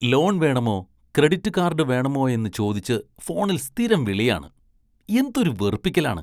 Loan‍ വേണമോ, credit card വേണമോയെന്ന് ചോദിച്ച് ഫോണില്‍ സ്ഥിരം വിളിയാണ്, എന്തൊരു വെറുപ്പിക്കലാണ്.